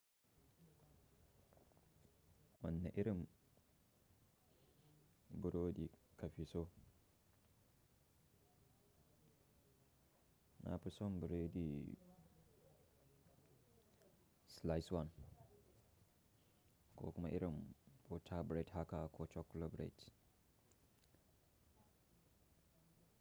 Wanna irin, burodi ka fi so? Na fi so buredi slice one, ko kuma irin butter bread haka ko chocolate bread.